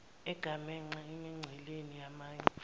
egamanxe emingceleni yamanye